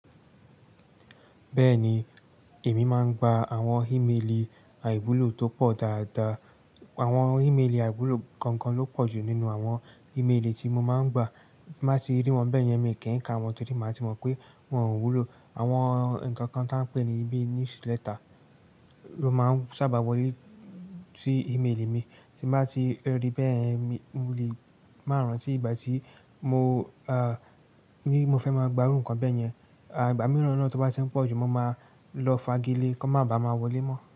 Bẹ́ẹ̀ni, èmi máa ń gba àwọn ímeèlì àìwúlò tó pọ̀ dáadáa. Àwọn ímeèlì àìwúlò gangan ló pọ̀jù nínú àwọn ímeèlì tí mo máa ń gba. Bí bàá ti rí wọn bẹ́ẹ̀ yẹn, mi kì í ka wọn torí màá ti mọ̀ pé wọn ò wúlò. Àwọn nǹkan kan tí wọ́n ń pè ní bí newsletter ló máa ń sábà wọlé sí ímeèlì mi. Tí bàá ti rí bẹ́ẹ̀ yen, mo lè máa rántí ìgbà tí mo ní mo fẹ́ gba iru nǹkan bẹ́ẹ̀ yẹn. Ìgbà mìíràn náà tí wọ́n bá ti ń pọ̀jù, mo máa lọ fagilé kí wọ́n má ba à má wọlé mọ́